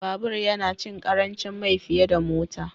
Babur yana cin ƙarancin mai fiye da Mota